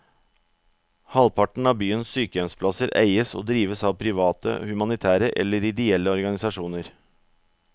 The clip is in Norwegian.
Halvparten av byens sykehjemsplasser eies og drives av private, humanitære eller ideelle organisasjoner.